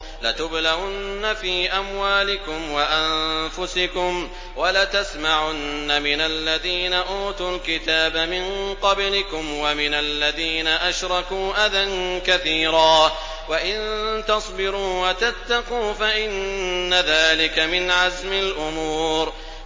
۞ لَتُبْلَوُنَّ فِي أَمْوَالِكُمْ وَأَنفُسِكُمْ وَلَتَسْمَعُنَّ مِنَ الَّذِينَ أُوتُوا الْكِتَابَ مِن قَبْلِكُمْ وَمِنَ الَّذِينَ أَشْرَكُوا أَذًى كَثِيرًا ۚ وَإِن تَصْبِرُوا وَتَتَّقُوا فَإِنَّ ذَٰلِكَ مِنْ عَزْمِ الْأُمُورِ